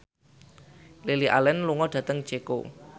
Lily Allen lunga dhateng Ceko